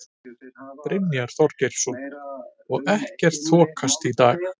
Brynja Þorgeirsdóttir: Og ekkert þokast í dag?